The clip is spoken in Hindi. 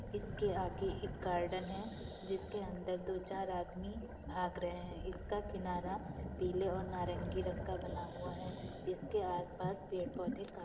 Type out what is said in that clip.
इसके आगे एक गार्डन है जिसके अंदर दो चार आदमी भाग रहे हैं। इसका किनारा पिले और नारगी रंग का बना हुआ है। इसके आसपास पेड़ पोधे का --